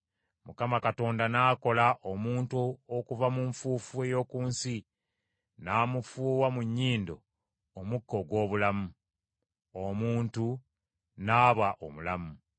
Mukama Katonda n’akola omuntu okuva mu nfuufu ey’oku nsi n’amufuuwa mu nnyindo omukka ogw’obulamu. Omuntu n’aba omulamu.